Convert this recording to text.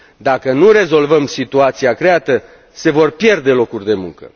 Dacă nu rezolvăm situația creată, se vor pierde locuri de muncă.